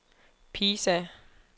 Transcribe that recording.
Pisa